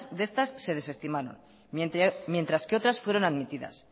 de estas se desestimaron mientras que otras fueron admitidas